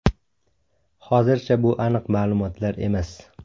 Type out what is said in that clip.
Hozircha bu aniq ma’lumotlar emas.